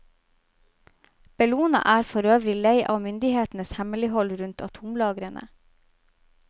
Bellona er forøvrig lei av myndighetenes hemmelighold rundt atomlagrene.